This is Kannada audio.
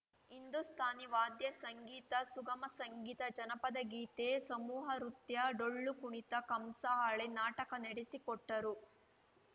ಹಿಂದೂಸ್ಥಾನಿ ವಾದ್ಯ ಸಂಗೀತ ಸುಗಮ ಸಂಗೀತ ಜನಪದ ಗೀತೆ ಸಮೂಹ ರುತ್ಯ ಡೊಳ್ಳು ಕುಣಿತ ಕಂಸಾಳೆ ನಾಟಕ ನಡೆಸಿಕೊಟ್ಟರು